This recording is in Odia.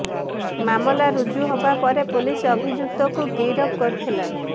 ମାମଲା ରୁଜୁ ହେବା ପରେ ପୁଲିସ ଅଭିଯୁକ୍ତକୁ ଗିରଫ କରିଥିଲା